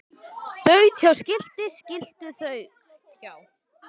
Þaut hjá skilti skilti þaut hjá